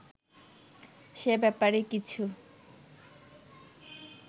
সে ব্যাপারে কিছু